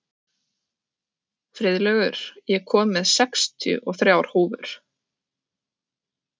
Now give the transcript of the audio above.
Friðlaugur, ég kom með sextíu og þrjár húfur!